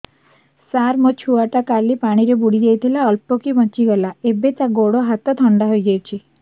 ସାର ମୋ ଛୁଆ ଟା କାଲି ପାଣି ରେ ବୁଡି ଯାଇଥିଲା ଅଳ୍ପ କି ବଞ୍ଚି ଗଲା ଏବେ ତା ଗୋଡ଼ ହାତ ଥଣ୍ଡା ହେଇଯାଉଛି